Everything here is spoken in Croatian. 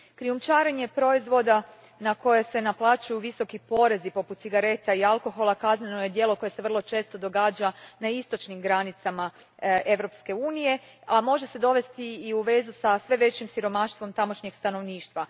Krijumčarenje proizvoda na koje se naplaćuju visoki porezi poput cigareta i alkohola kazneno je djelo koje se vrlo često događa na istočnim granicama Europske unije, a može se dovesti u vezi sa sve većim siromaštvom tamošnjeg stanovništva.